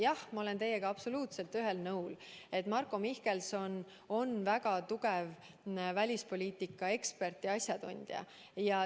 Jah, ma olen teiega absoluutselt ühel nõul, et Marko Mihkelson on väga tugev välispoliitika ekspert ja asjatundja.